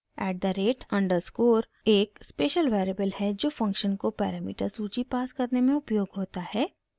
eight the rate underscore@_ एक special variable है जो फंक्शन को पैरामीटर सूची पास करने में उपयोग होता है